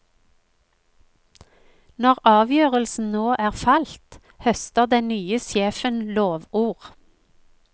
Når avgjørelsen nå er falt, høster den nye sjefen lovord.